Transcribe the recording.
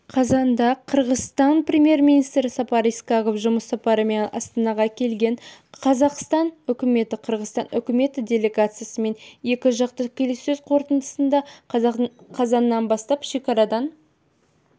қазанда қырғызстан премьер-министрі сапар исаков жұмыс сапарымен астанаға келген қазақстан үкіметі қырғызстан үкіметі делегациясымен екі жақты келіссөз қорытындысында қазаннан бастап шекарадан